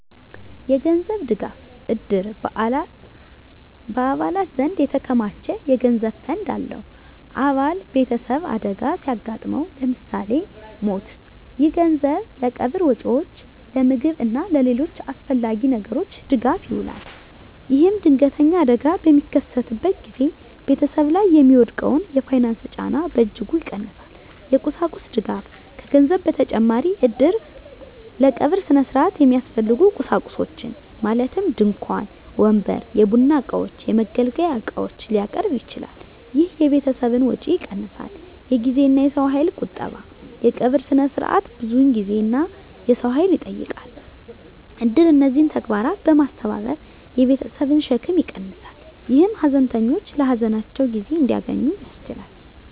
የገንዘብ ድጋፍ: እድር በአባላት ዘንድ የተከማቸ የገንዘብ ፈንድ አለው። አባል ቤተሰብ አደጋ ሲያጋጥመው (ለምሳሌ ሞት)፣ ይህ ገንዘብ ለቀብር ወጪዎች፣ ለምግብ እና ለሌሎች አስፈላጊ ነገሮች ድጋፍ ይውላል። ይህም ድንገተኛ አደጋ በሚከሰትበት ጊዜ ቤተሰብ ላይ የሚወድቀውን የፋይናንስ ጫና በእጅጉ ይቀንሳል። የቁሳቁስ ድጋፍ: ከገንዘብ በተጨማሪ እድር ለቀብር ሥነ ሥርዓት የሚያስፈልጉ ቁሳቁሶችን (ድንኳን፣ ወንበር፣ የቡና እቃዎች፣ የመገልገያ ዕቃዎች) ሊያቀርብ ይችላል። ይህ የቤተሰብን ወጪ ይቀንሳል። የጊዜና የሰው ኃይል ቁጠባ: የቀብር ሥነ ሥርዓት ብዙ ጊዜና የሰው ኃይል ይጠይቃል። እድር እነዚህን ተግባራት በማስተባበር የቤተሰብን ሸክም ይቀንሳል፣ ይህም ሀዘንተኞች ለሀዘናቸው ጊዜ እንዲያገኙ ያስችላል።